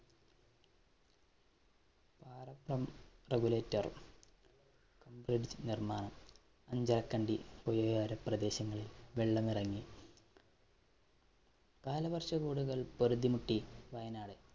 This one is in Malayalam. vaccum regulator bridge നിര്‍മ്മാണം. അഞ്ചരക്കണ്ടി, പ്രദേശങ്ങളില്‍ വെള്ളമിറങ്ങി. കാലാവര്‍ഷ കള്‍ പൊറുതിമുട്ടി വയനാട്.